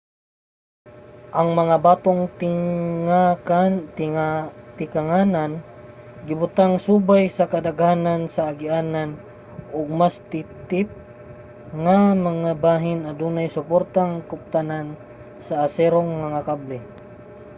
ang mga batong tikanganan gibutang subay sa kadaghanan sa agianan ug sa mas titip nga mga bahin adunay suportang kuptanan sa aserong mga kable